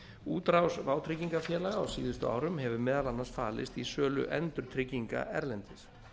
útrás vátryggingafélaga á síðustu árum hefur meðal annars falist í sölu endurtrygginga erlendis